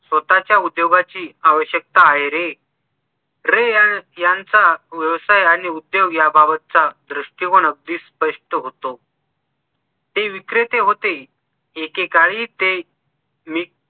स्वतःच्या उद्योगाची आवश्यकता आहे रे रे यांचा व्यवसाय आणि उद्योग याबाबतचा दृष्टिकोन अगदी स्पष्ट होतो ते विक्रते होते एकेकाळी ते मी